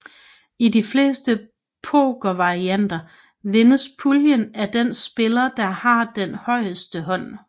I de fleste pokervarianter vindes puljen af den spiller der har den højeste hånd